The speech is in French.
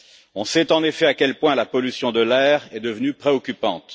On sait, en effet, à quel point la pollution de l'air est devenue préoccupante.